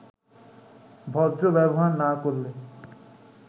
ভদ্র ব্যবহার না করলে